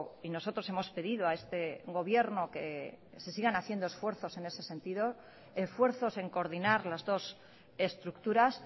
y nosotros hemos pedido a este gobierno que se sigan haciendo esfuerzos en ese sentido esfuerzos en coordinar las dos estructuras